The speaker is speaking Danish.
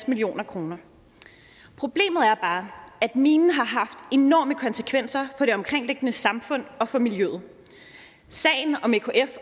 million kroner problemet er bare at minen har haft enorme konsekvenser for det omkringliggende samfund og for miljøet sagen om ekf